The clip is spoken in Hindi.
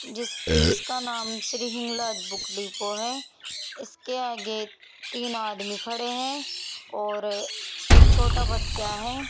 जिस जिसका नाम श्री हिंगलाज बुक डिपो है इसके आगे तीन आदमी खड़े है और एक छोटा बच्चा है।